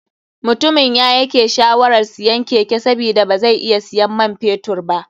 Mutumin yayake shawarar siyan keke sabida bazai iya siyan man fetur ba.